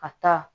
Ka taa